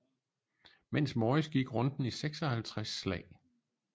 Mens morris gik runden i 56 slag